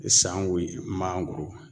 sanko ye mangoro ma.